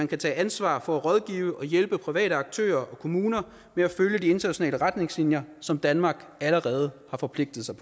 kan tage ansvar for at rådgive og hjælpe private aktører og kommuner med at følge de internationale retningslinjer som danmark allerede har forpligtet sig